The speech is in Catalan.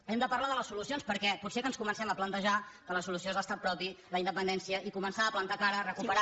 hem de parlar de les solucions perquè potser que ens comencem a plantejar que la solució és l’estat propi la independència i començar a plantar cara a recuperar